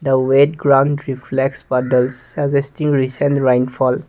the wet crown reflex part does suggesting recent rainfall.